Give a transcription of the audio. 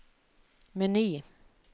meny